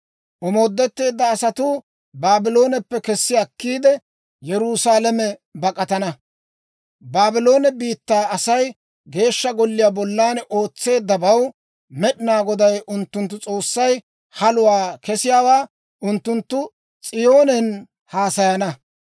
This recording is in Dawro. «Omoodetteedda asatuu Baablooneppe kessi akkiide, Yerusaalame bak'atana. Baabloone biittaa Asay Geeshsha Golliyaa bollan ootseeddabaw Med'inaa Goday unttunttu S'oossay haluwaa kesiyaawaa unttunttu S'iyoonen haasayana.